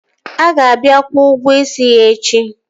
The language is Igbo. A ga-abịa kwụo ụgwọ isi ya echi